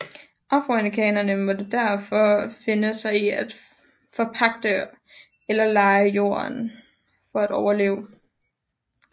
Afroamerikanerne måtte derfor finde sig i at forpagte eller leje jorden for at overleve